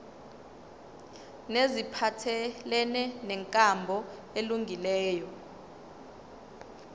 neziphathelene nenkambo elungileyo